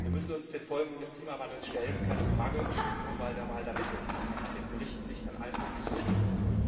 Wir müssen uns den Folgen des Klimawandels stellen, keine Frage. Nur bei der Wahl der Mittel kann ich dem Bericht nicht in allen Punkten zustimmen.